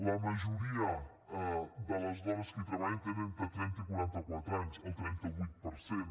la majoria de les dones que hi treballen tenen entre trenta i quaranta quatre anys el trenta vuit per cent